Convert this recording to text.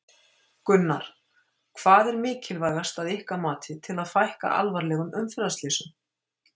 Gunnar: Hvað er mikilvægast að ykkar mati til þess að fækka alvarlegum umferðarslysum?